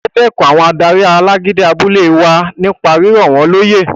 O dẹkùn àwọn adarí alágídí abúlé wa nípa rírọ̀ wọ́n lóyè